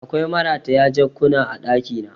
Akwai marataya jakkuna a ɗakina